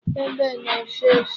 Egbe na-efe efe.